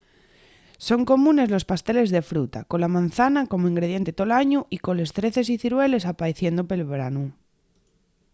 son comunes los pasteles de fruta con la mazana como ingrediente tol añu y coles zreces y cirueles apaeciendo pel branu